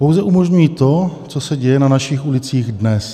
Pouze umožňují to, co se děje na našich ulicích dnes.